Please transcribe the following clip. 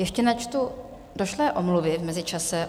Ještě načtu došlé omluvy v mezičase.